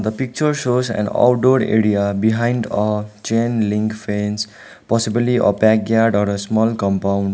picture shows an outdoor area behind a chain link fence possibly a backyard or a small compound.